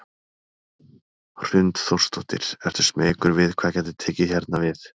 Hrund Þórsdóttir: Ertu smeykur við hvað gæti tekið hérna við?